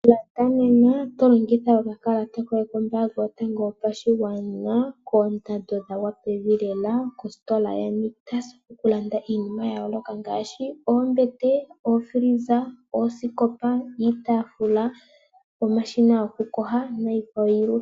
Landa nena to longitha okakalata koye kombanga yotango yopashigwana koondando dhagwa pevi lela kositola yaNictus. Oku landa iinima ya yoloka ngaashi oombete, oofriza, oosikopa, iitafula, omashina goku yoga nikwawo yilwe.